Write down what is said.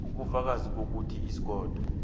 ubufakazi bokuthi ikhotho